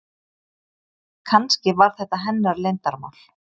Kannski var þetta hennar leyndarmál.